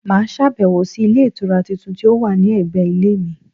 Mà á sàbẹ̀wò sí Ilé Ìtura tuntun tí ó wà ní ẹ̀gbẹ̀ Ilé mi